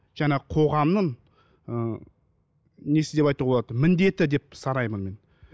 жаңағы қоғамның ы несі деп айтуға болады міндеті деп санаймын мен